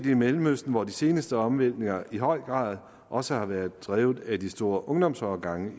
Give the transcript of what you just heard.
i mellemøsten hvor de seneste omvæltninger i høj grad også har været drevet af de store ungdomsårgange